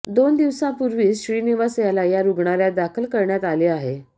दोन दिवसांपूर्वीच श्रीनिवास याला या रुग्णालयात दाखल करण्यात आले आहे